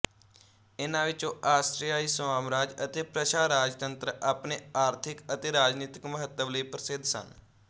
ਇਨ੍ਹਾਂ ਵਿੱਚੋਂ ਆਸਟਰਿਆਈ ਸਾਮਰਾਜ ਅਤੇ ਪ੍ਰਸ਼ਾ ਰਾਜਤੰਤਰ ਆਪਣੇ ਆਰਥਕ ਅਤੇ ਰਾਜਨੀਤਕ ਮਹੱਤਵ ਲਈ ਪ੍ਰਸਿੱਧ ਸਨ